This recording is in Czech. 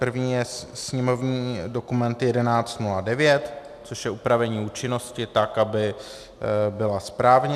První je sněmovní dokument 1109, což je upravení účinnosti tak, aby byla správně.